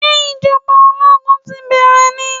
Sé ìjọba ológun ti bẹ́rẹ̀ ni?